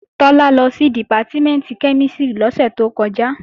Tọ́lá lọ sí Dìpátímẹ̀ntì kẹ́mísìrì lọ́sẹ̀ tó kọjá